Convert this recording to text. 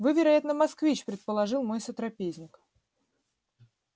вы вероятно москвич предположил мой сотрапезник